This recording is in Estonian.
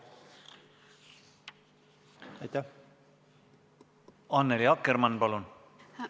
Annely Akkermann, palun!